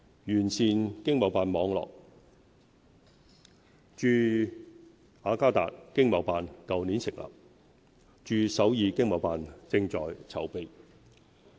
完善經貿辦網絡駐雅加達經貿辦去年成立，駐首爾經貿辦正在籌備。